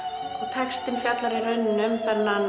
textinn fjallar um